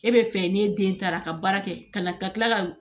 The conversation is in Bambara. E bɛ fɛ n'e den taara ka baara kɛ ka na ka kila ka